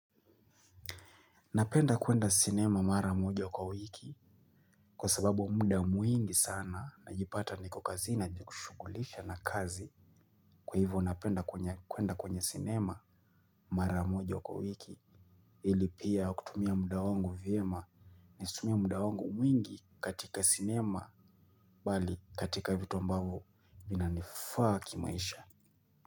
Napenda kuenda cinema mara moja kwa wiki kwa sababu muda mwingi sana najipata niko kazi najikushughulisha na kazi. Kwa hivyo napenda kuenda kwenye cinema mara moja kwa wiki ili pia kutumia muda wangu vyema nazitumia muda wangu mwingi katika cinema bali katika vitu ambavo vinanifaa kimaisha.